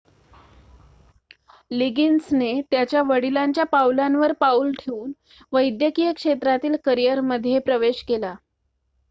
लिगिन्सने त्याच्या वडिलांच्या पावलांवर पाउल ठेऊन वैद्यकीय क्षेत्रातील करिअरमध्ये प्रवेश केला